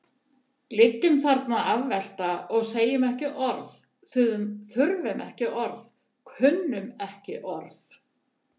Liggjum þarna afvelta og segjum ekki orð, þurfum ekki orð, kunnum ekki orð.